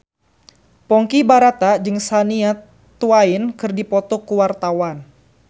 Ponky Brata jeung Shania Twain keur dipoto ku wartawan